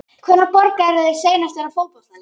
Hvenær borgaðirðu þig seinast inná fótboltaleik?